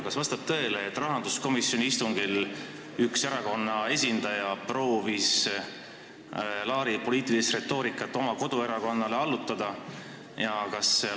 Kas vastab tõele, et rahanduskomisjoni istungil proovis üks erakonna esindaja Laari poliitilist retoorikat oma koduerakonnale allutada?